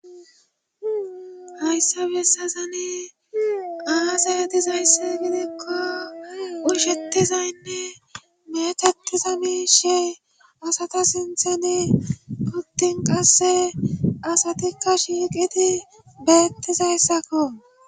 Hayssabe essazani aasayatizayssi gidikko ushettizaynne methettiza miishey asata sinthene kuttin qasse asatikka shiiqiti beettizayssakko.